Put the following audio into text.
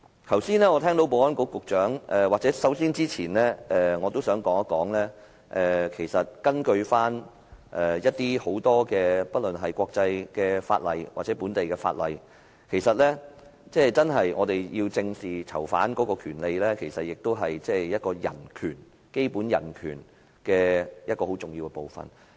我剛才聽到保安局局長......首先，我想說一說根據國際法例或本地法例。我們要求正視囚犯權利，其實也是保障基本人權很重要的部分。